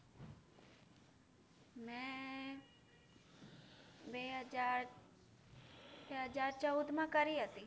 મેં બે હજાર બે હજાર ચૌદમાં કરી હતી.